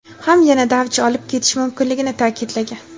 ham yanada avj olib ketishi mumkinligini ta’kidlagan.